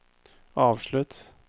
avslutt